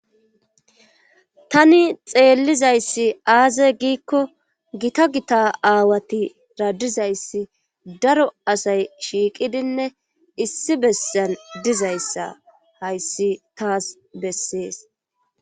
Tani xeellizayssi aaze giikko gita gita aawati radizayssi daro asay shiiqidinne issi bessen dizayssa hayssi taas bessees.